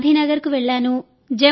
గాంధీ నగర్కు వెళ్ళాను